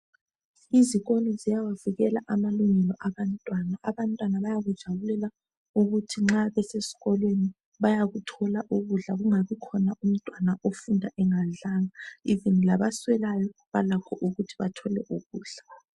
izikolo zayawavikela amalungelo abantwana abantwana bayakujabulela ukuthi nxa besesikolweni bayakuthola ukudla kungabi khona umntwana othi nxa besesikolweni bayakuthola ukudla kungabi lomntwana ofunda engadlanga even labaswelayo balakho ukuthi bathole ukudla